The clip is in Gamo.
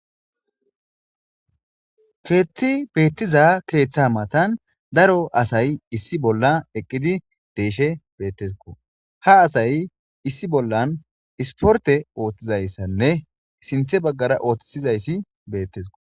Keththe eqida betishin, he eqida keththa matan daro assi eqidi betes.ha isporte ooththizaysanne sinththe bagara ottisidaysi betes.